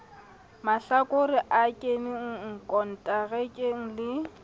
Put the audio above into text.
mahlakore a keneng konterakeng le